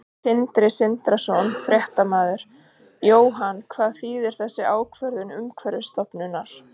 Sindri Sindrason, fréttamaður: Jóhann, hvað þýðir þessi ákvörðun Umhverfisstofnunar?